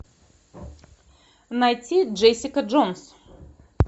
найти джессика джонс